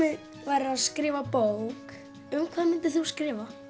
værir að skrifa bók um hvað myndir þú skrifa